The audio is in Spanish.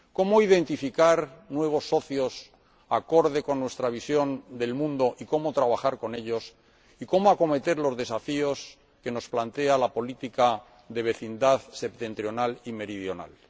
¿Cómo identificar nuevos socios de forma acorde con nuestra visión del mundo y cómo trabajar con ellos y cómo acometer los desafíos que nos plantea la política de vecindad, septentrional y meridional?